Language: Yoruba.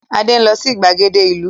Adé ń lọ sí ìgbàgede ìlú.